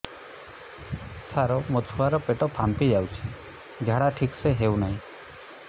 ସାର ମୋ ଛୁଆ ର ପେଟ ଫାମ୍ପି ଯାଉଛି ଝାଡା ଠିକ ସେ ହେଉନାହିଁ